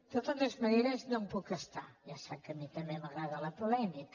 de totes maneres no me’n puc estar ja sap que a mi també m’agrada la polèmica